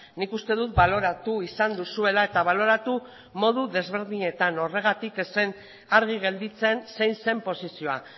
nik uste dut baloratu izan duzuela eta baloratu modu desberdinetan horregatik ez zen argi gelditzen zein zen posizioa